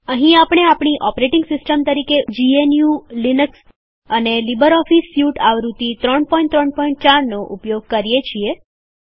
અહીં આપણે આપણી ઓપરેટિંગ સિસ્ટમ તરીકે જીએનયુ લીનક્સ અને લીબરઓફીસ સ્યુટ આવૃત્તિ ૩૩૪નો ઉપયોગ કરીએ છીએ